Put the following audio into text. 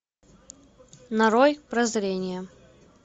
нарой прозрение